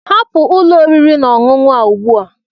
Hapụ ụlọ oriri na ọṅụṅụ a ugbu a!